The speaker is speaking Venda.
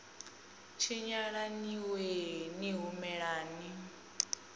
tshinyala ni wee ni humelani